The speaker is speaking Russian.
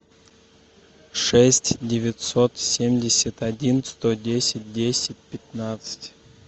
шесть девятьсот семьдесят один сто десять десять пятнадцать